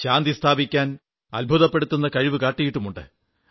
ശാന്തി സ്ഥാപിക്കാൻ അത്ഭുതപ്പെടുത്തുന്ന കഴിവു കാട്ടിയിട്ടുമുണ്ട്